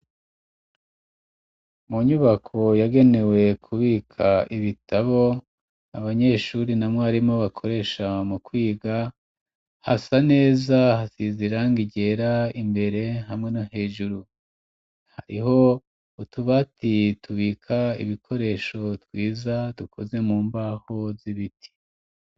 Mu nyubako yagenewe kubika ibitabo abanyeshuri na mwarimu bakoresha mu kwiga hasa neza hasize irangi ryera imbere hamwe no hejuru, hariho utubati tubika ibikoresho twiza dukoze mu mbaho z'ibiti.